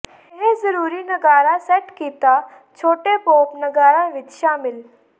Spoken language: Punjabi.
ਇਹ ਜ਼ਰੂਰੀ ਨਗਾਰਾ ਸੈੱਟ ਕੀਤਾ ਛੋਟੇ ਪੌਪ ਨਗਾਰਾ ਵਿੱਚ ਸ਼ਾਮਿਲ